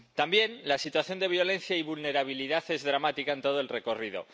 También la situación de violencia y vulnerabilidad es dramática en todo el recorrido.